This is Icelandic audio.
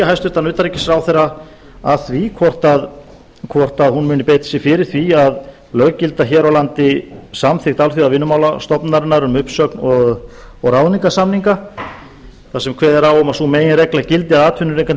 hæstvirtan utanríkisráðherra að því hvort hún muni beita sér fyrir því að löggilda hér á landi samþykkt alþjóðavinnumálastofnunarinnar um uppsögn og ráðningarsamninga þar sem kveðið er á um að sú meginregla gildi að atvinnurekandi